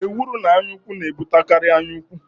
Ekworo na anyaụfụ na-ebutekarị anyaukwu.